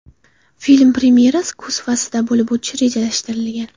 Film premyerasi kuz faslida bo‘lib o‘tishi rejalashtirilgan.